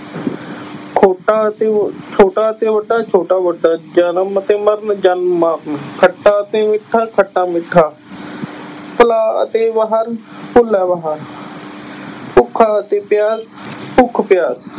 ਖੋਟਾ ਅਤੇ ਹੋ ਛੋਟਾ ਅਤੇ ਮੋਟਾ ਛੋਟਾ ਮੋਟਾ, ਜਨਮ ਅਤੇ ਮਰਨ ਜਨਮ ਮਰਨ ਖੱਟਾ ਅਤੇ ਮਿੱਠਾ, ਖੱਟਾ ਮਿੱਠਾ ਭੁਲਾ ਅਤੇ ਬਾਹਰ ਭੁੱਲਾ ਬਾਹਰ ਭੁੱਖਾ ਅਤੇ ਪਿਆਸ ਭੁੱਖ ਪਿਆਸ